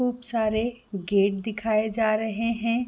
खूब सारे गेट दिखाए जा रहे है।